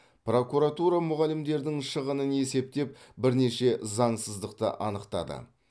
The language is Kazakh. прокуратура мұғалімдердің шығынын есептеп бірнеше заңсыздықты анықтады